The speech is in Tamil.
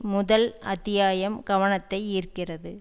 முதல் அத்தியாயம் கவனத்தை ஈர்க்கிறது